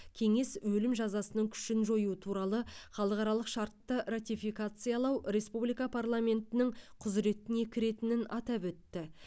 кеңес өлім жазасының күшін жою туралы халықаралық шартты ратификациялау республика парламентінің құзыретіне кіретінін атап өтті